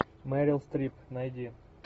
мерил стрип найди